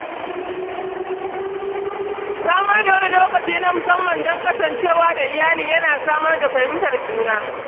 Samar da wani lokaci na musamman don kasancewa da iyali yana samar da fahimtar juna